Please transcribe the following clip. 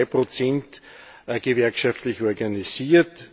Ungefähr 2 sind gewerkschaftlich organisiert.